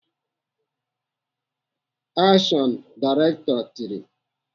"Akshọn!" Direktọ tiri.